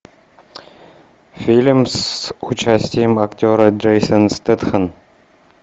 фильм с участием актера джейсон стэтхэм